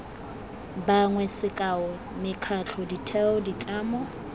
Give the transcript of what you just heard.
bangwe sekao mekgatlho ditheo ditlamo